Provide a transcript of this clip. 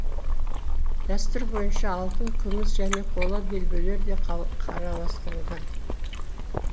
дәстүр бойынша алтын күміс және қола белбеулер де қараластырылған